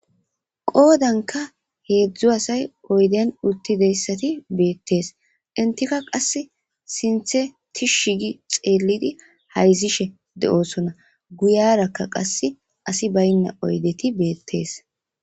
Qoodankka heedzdzu asay oydiyan uttidayssati beettes. Entika qassi sinththe tishshigi xeellidi hayzishe de'osona. Guyerakka qassi asi bayna oydeti beettes.